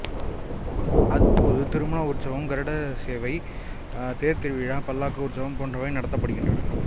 அப்போது திருமண உற்சவம் கருடசேவை தேர்த் திருவிழா பல்லக்கு உற்சவம் போன்றவை நடத்தப்படுகின்றன